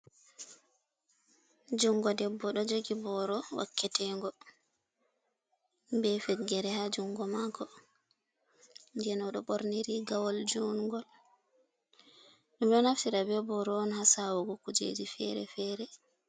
Jungo debbo ɗo jogi booro wakketengo be feggere ha jungo mako den oɗo ɓorni rigawol jungol, ɗum ɗo naftira be booro on ha sawugo kujeeji feere-feere.